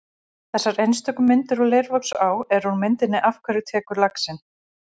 Þessar einstöku myndir úr Leirvogsá eru úr myndinni Af hverju tekur laxinn?